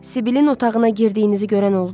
Sibilin otağına girdiyinizi görən oldu?